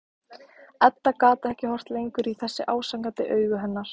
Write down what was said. Edda gat ekki horft lengur í þessi ásakandi augu hennar.